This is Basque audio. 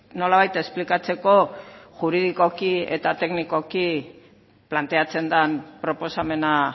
nolabait esplikatzeko juridikoki eta teknikoki planteatzen den proposamena